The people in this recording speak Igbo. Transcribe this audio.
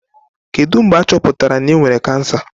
Kedu mgbe a chọpụtara na ị nwere kansa?